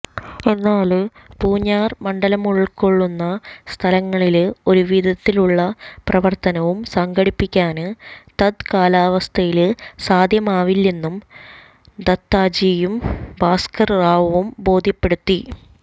എന്നാല് പൂഞ്ഞാര് മണ്ഡലമുള്ക്കൊള്ളുന്ന സ്ഥലങ്ങളില് ഒരു വിധത്തിലുള്ള പ്രവര്ത്തനവും സംഘടിപ്പിക്കാന് തത് കാലാവസ്ഥയില് സാധ്യമാവില്ലെന്ന് ദത്താജിയും ഭാസ്കര് റാവുവും ബോധ്യപ്പെടുത്തി